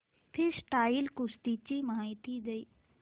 freestyle कुस्ती ची माहिती दे